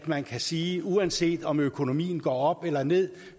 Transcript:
man kan sige at uanset om økonomien går op eller ned